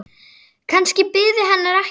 Kannski biði hennar ekkert.